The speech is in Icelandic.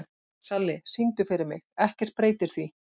Salli, syngdu fyrir mig „Ekkert breytir því“.